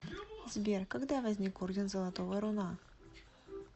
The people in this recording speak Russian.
сбер когда возник орден золотого руна